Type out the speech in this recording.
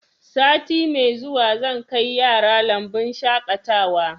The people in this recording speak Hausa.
Sati mai zuwa zan kai yara lambun shaƙatawa